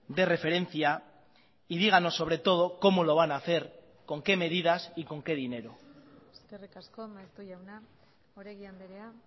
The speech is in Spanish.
de referencia y díganos sobre todo cómo lo van a hacer con qué medidas y con qué dinero eskerrik asko maeztu jauna oregi andrea